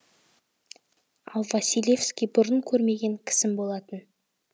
ал василевский бұрын көрмеген кісім болатын